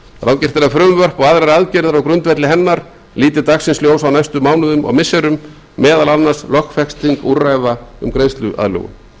að frumvörp og aðrar aðgerðir á grundvelli hennar líti dagsins ljós á næstu mánuðum og missirum meðal annars lögfesting úrræða um greiðsluaðlögun